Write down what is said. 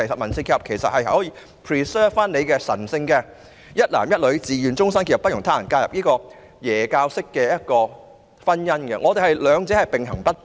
民事結合其實可以保存神聖的"一男一女自願終身結合，不容他人介入"的基督教式婚姻，兩者可以並行不悖。